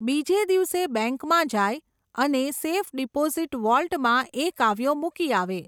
બીજે દિવસે બૅન્કમાં જાય, અને સેફ ડિપોઝિટ વૉલ્ટમાં એ કાવ્યો મૂકી આવે.